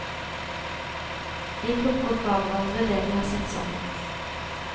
Vi plukker fra hverandre det de har satt sammen.